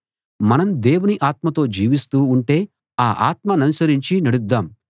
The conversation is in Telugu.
మనం దేవుని ఆత్మతో జీవిస్తూ ఉంటే ఆ ఆత్మ ననుసరించి నడుద్దాం